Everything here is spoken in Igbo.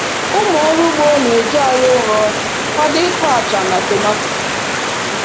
Ụmụ ọrụ ugbo na-eji ala ụrọ kwado ịkụ acha na tomato